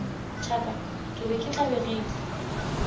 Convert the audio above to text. thaka ke be ke tlabegile